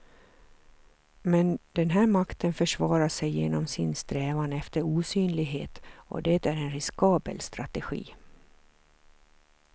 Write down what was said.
Men den här makten försvarar sig genom sin strävan efter osynlighet och det är en riskabel strategi.